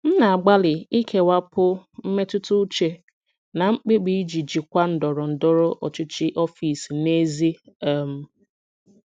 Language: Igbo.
M na-agbalị ikewapụ mmetụta uche na mkpebi iji jikwaa ndọrọ ndọrọ ọchịchị ọfịs n'ezie um